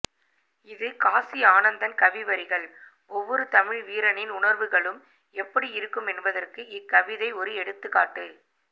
இது காசி ஆனந்தன் கவி வரிகள் ஒவ்வொரு தமிழ் வீரனின் உணர்வுகளும் எப்படி இருக்கும் என்பதற்கு இக்கவிதை ஒரு எடுத்துக்காட்டு